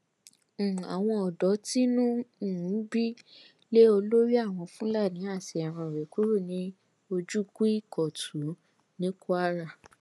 um àwọn ọdọ tínú ń um bí lé olórí àwọn fúlàní àti ẹran rẹ kúrò ní ojúkùìkọtun ní kwara